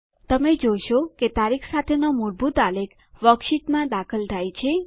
તમે જોશો કે તારીખ સાથેનો મૂળભૂત આલેખ વર્કશીટમાં દાખલ થાય છે